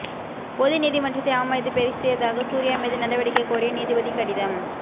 பொது நீதிமன்றத்தை அவமதித்து பேசியதாக சூர்யா மீது நடவடிக்கை கோரி நீதிபதி கடிதம்